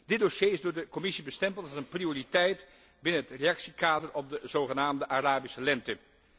Dit dossier is door de Commissie bestempeld als een prioriteit binnen het reactiekader op de zogenaamde Arabische lente.